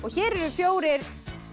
hér eru fjórir